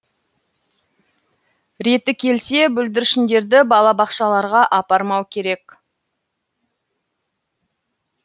реті келсе бүлдіршіндерді балабақшаларға апармау керек